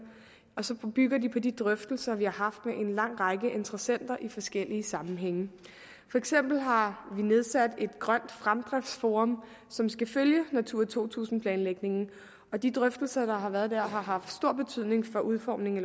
og så bygger de på de drøftelser vi har haft med en lang række interessenter i forskellige sammenhænge for eksempel har vi nedsat grønt fremdriftsforum som skal følge natura to tusind planlægningen og de drøftelser der har været der har haft stor betydning for udformningen af